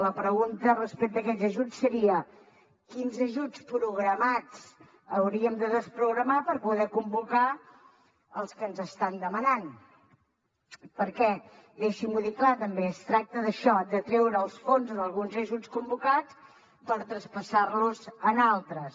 la pregunta respecte a aquests ajuts seria quins ajuts programats hauríem de desprogramar per poder convocar els que ens estan demanant perquè deixi m’ho dir clar també es tracta d’això de treure els fons d’alguns ajuts convocat per traspassar los en altres